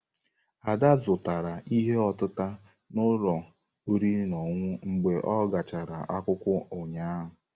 Ada zụtara ihe otịtà n'ụlọ oriri na ọṅụṅụ mgbe a gachara akwụkwọ ụnyahụ.